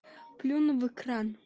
плюну в экран